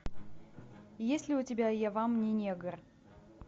есть ли у тебя я вам не негр